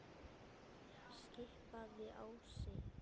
skipaði Ási.